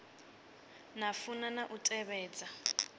na funa na u tevhedza